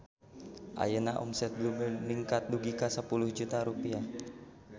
Ayeuna omset Blue Bird ningkat dugi ka 10 juta rupiah